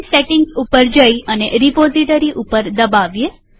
ફરી સેટિંગ પર જઈએ અને રીપોઝીટરી પર દબાવીએ